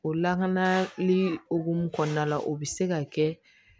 O lakanali hokumu kɔnɔna la o bɛ se ka kɛ